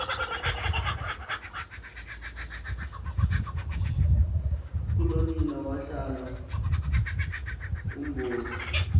kulonina wahlala ubomi